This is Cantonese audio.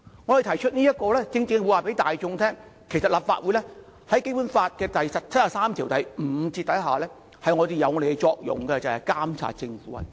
我們提出此議案正是要告訴大眾，在《基本法》第七十三條第五項下，立法會的作用是監察政府運作。